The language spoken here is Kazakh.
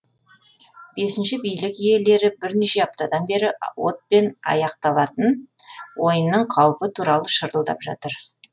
бесінші билік иелері бірнеше аптадан бері отпен аяқталатын ойынның қаупі туралы шырылдап жатыр